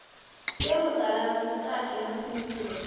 sie mutaladzi vhukati ha phindulo